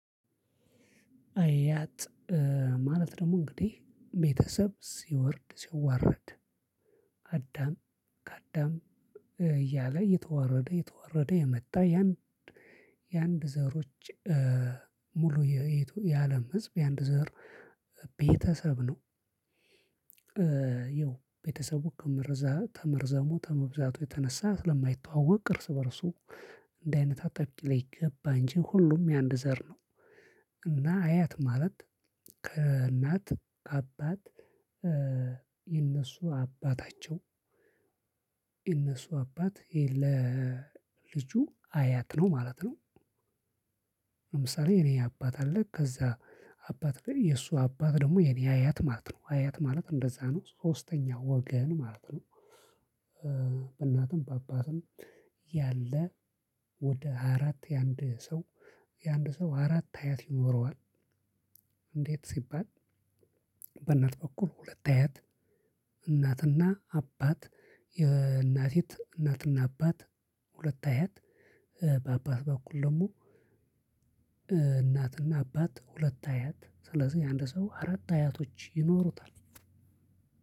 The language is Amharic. አያት ማለት ደግሞ እንግዲህ ቤተሰብ ሲወርድ ሲዋረድ አዳም ከአዳም እያለ የተወረደ የተወረደ የመጣ ያን የአንድ ዘሮች ሙሉ የአለም ህዝብ የአንድ ዘር ቤተሰብ ነው። ይኸው ቤተሰቡ ከመረዛ ከመርዘሙ ከመብዛቱ የተነሳ ስለማይተዋወቅ እርስ በእርሱ እንድህ አይነት አጠብቂኝ ላይ ገባ እንጂ ሁሉም የአንድ ዘር ነው። እና አያት ማለት ከእናት ከአባት የእነሱ አባታቸው እነሱ አባት ለልጁ አያት ነው ማለት ነው። ለምሳሌ የኔ አባት አለ ከዛ አባት ላይ የእሱ አባት ደግሞ የኔ አያት ማለት ነው አያት ማለት እንደዛ ነው ሶስተኛው ወገን ማለት ነው። በእናቱም በአባቱም ያለ ወደ አራት የአንድ ሰው የአንድ ሰው አራት አያት ይኖረዋል። እንዴት ሲባል። በእናት በኩል ሁለት አያት። እናትና አባት የእናት እናትና አባት ሁለት አያት በአባት በኩል ደግሞ። እናትና አባት ሁለት አያት ስለዚህ የአንድ ሰው አራት አያቶች ይኖሩታል።